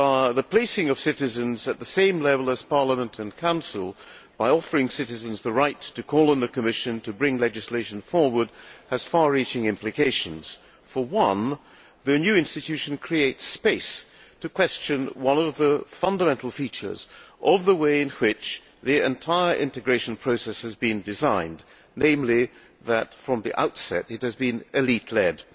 The placing of citizens at the same level as Parliament and Council, by offering citizens the right to call on the Commission to bring legislation forward, has far reaching implications. For one, the new institution creates space to question one of the fundamental features of the way in which the entire integration process has been designed namely that, from the outset, it has been elite led.